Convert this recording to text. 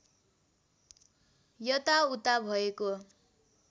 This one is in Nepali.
यता उता भएको